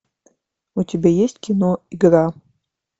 у тебя есть кино игра